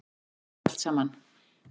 Hvað þýðir þetta allt saman